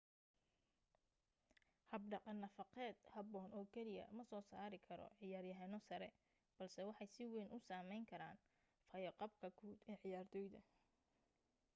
habdhaqan nafaqeed habboon oo keliya ma soo saari karo ciyaar-yahano sare balse waxay si wayn u saameyn karaan fayo-qabka guud ee ciyaartoyda